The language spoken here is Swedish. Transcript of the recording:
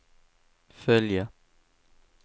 följa